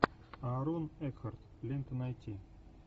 аарон экхарт лента найти